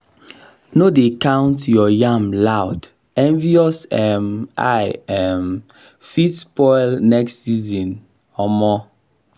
no dey count your yam loud envious um eye um fit spoil next season um